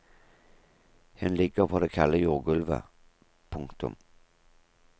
Hun ligger på det kalde jordgulvet. punktum